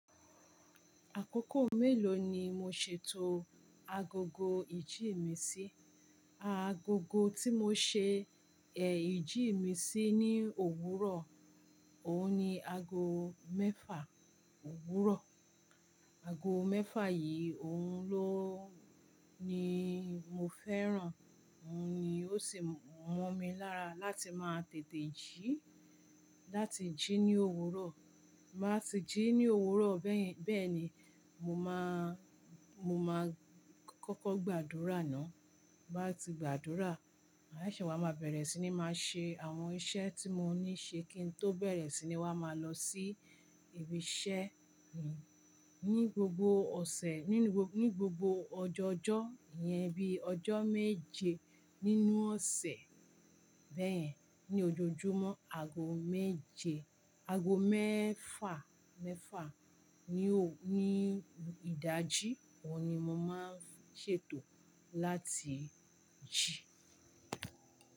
Àkókò mélòó ni mo ṣètò agogo ìjí mi sí? Agogo tí mo ṣe èh ìjí ì mi sí ní òwúrọ̀, òun ni ago mẹ́fà òwúrọ̀. Ago mẹ́fà yíí òun ló, ni mo fẹ́ràn, òun ni ó sì mọ́ mi lára láti máa tètè jí láti jí ní òwúrọ̀. Maa sì jí ní òwúrọ̀ bẹ́yẹn bẹ́ẹ̀ni, mo máa, mo máa kọ́kọ́ gbàdúrà ná. Nbá ti gbàdúrà, mà á ṣẹ̀ṣẹ̀ wá ma bẹ̀rẹ̀ sí ní máa ṣe àwọn iṣẹ́ tí mo ní ṣe kí n tó bẹ̀rẹ̀ sí ní wá máa lọ sí ibi iṣẹ́ mi. Ni gbogbo ọ̀sẹ̀, nínú gbogbo ọjọọjọ́ ìyẹn bí i ọjọ́ méje nínú ọ̀sẹ̀ bẹ́yẹn ní ojoojúmọ́ ago méje, ago mẹ́fà, mẹ́fà ní òwú, ní ìdájí, òun ni mo máa ń ṣètò láti jí.